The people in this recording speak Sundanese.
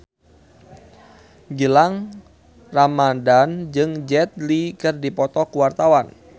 Gilang Ramadan jeung Jet Li keur dipoto ku wartawan